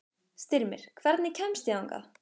Styrmir, hvernig kemst ég þangað?